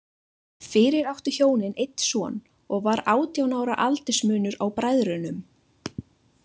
Fyrir áttu hjónin einn son, og var átján ára aldursmunur á bræðrunum.